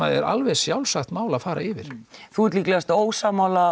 er alveg sjálfsagt mál að fara yfir mhm þú ert líklegast ósammála